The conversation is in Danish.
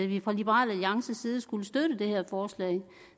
vi fra liberal alliances side skulle støtte det her forslag